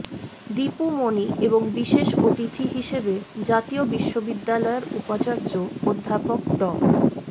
দীপু মনি এবং বিশেষ অতিথি হিসেবে জাতীয় বিশ্ববিদ্যালয়ের উপাচার্য অধ্যাপক ড